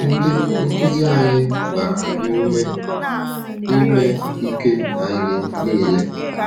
Ndị nkuzi anyị gbara anyị ume ime ike anyị niile.